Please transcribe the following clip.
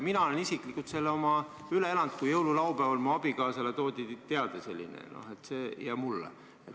Mina olen isiklikult selle üle elanud, kui jõululaupäeval mu abikaasale ja mulle toodi selline teade.